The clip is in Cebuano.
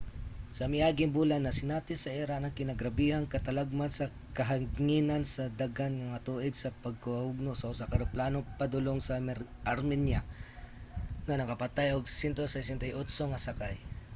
sa miaging bulan nasinati sa iran ang kinagrabehang katalagman sa kahanginan sa daghang mga tuig sa pagkahugno sa usa ka eroplanong padulong sa armenia nga nakapatay og 168 nga sakay